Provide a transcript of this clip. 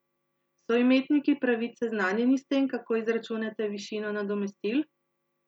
So imetniki pravic seznanjeni s tem, kako izračunate višino nadomestil?